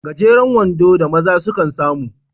Gajeren wando da maza sukan samu